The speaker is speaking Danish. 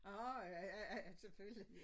Åh ja ja ja selvfølgelig